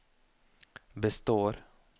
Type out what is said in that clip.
består